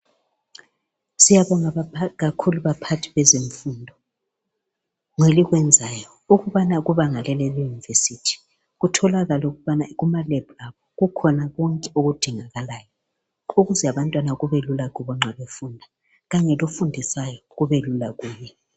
Siyabonga kakhulu baphathi bezemfundo ngelokwenzayo ukubana kubanga leli leyunivesithi, kutholakale ukubana kumalebhu abo kukhona konke okudingekalayo ukuze abantwana kubelula kubo nxa befunda, khanye lofundisayo kubelula kuye.